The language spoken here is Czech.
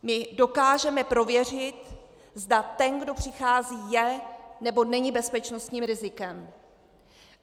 My dokážeme prověřit, zda ten, kdo přichází, je nebo není bezpečnostním rizikem.